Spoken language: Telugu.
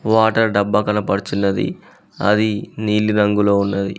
వాటర్ డబ్బా కనపడుచున్నది అది నీలి రంగులో ఉన్నది.